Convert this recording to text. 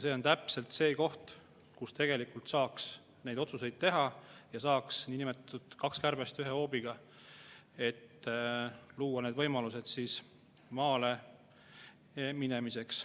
See on täpselt see koht, kus saaks neid otsuseid teha ja saaks nii-öelda kaks kärbest ühe hoobiga, et luua võimalused maale minemiseks.